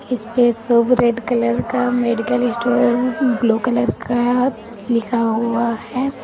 इस पे शुभ रेड कलर का मेडिकल स्टोर ब्लू कलर का लिखा हुआ है।